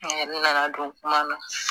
A yɛrɛ nana don kuma na.